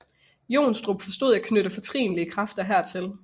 Johnstrup forstod at knytte fortrinlige kræfter hertil